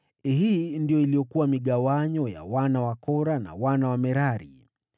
Hii ndiyo iliyokuwa migawanyo ya mabawabu waliokuwa wazao wa Kora na wa Merari.